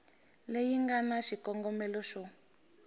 leyi nga na xikongomelo xo